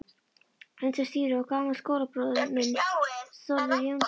Undir stýri var gamall skólabróðir minn, Þórður Jónsson.